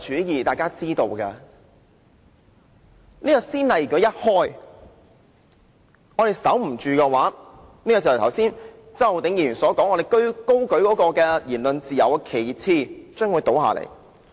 如果這先例一開，我們的防線失守的話，便正如周浩鼎議員剛才所說，我們高舉的言論自由旗幟將會倒下。